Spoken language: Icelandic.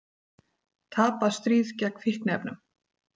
Tapað stríð gegn fíkniefnum